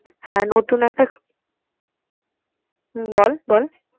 হ্যাঁ নতুন একটা হম বল বল।